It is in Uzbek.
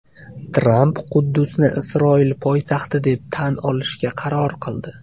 Tramp Quddusni Isroil poytaxti deb tan olishga qaror qildi.